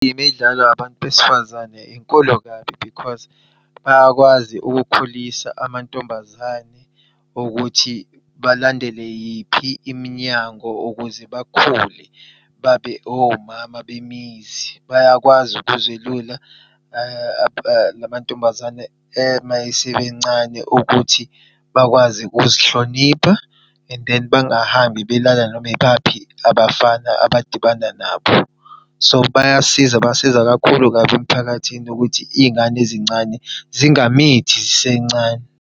Uma idlalwa abantu besifazane inkulu kabi because bayakwazi ukukhulisa amantombazane ukuthi balandele yiphi iminyango ukuze bakhule babe omama bemizi. Bayakwazi ukuzelula lama ntombazane uma esemancane ukuthi bakwazi ukuzihlonipha and then bangahambi belala noma ibaphi abafana abadibanda nabo. So, bayasiza basiza kakhulu kabi emphakathini ukuthi iy'ngane ezincane zingamithi zisencane.